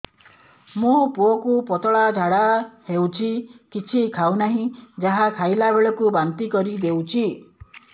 ମୋ ପୁଅ କୁ ପତଳା ଝାଡ଼ା ହେଉଛି କିଛି ଖାଉ ନାହିଁ ଯାହା ଖାଇଲାବେଳକୁ ବାନ୍ତି କରି ଦେଉଛି